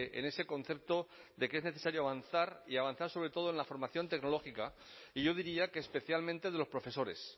en ese concepto de que es necesario avanzar y avanzar sobre todo en la formación tecnológica y yo diría que especialmente de los profesores